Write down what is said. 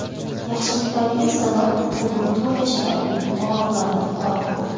Yaxshiliklaringiz sabab bugun to‘rt yashar Alibek og‘riqlardan forig‘ bo‘ldi.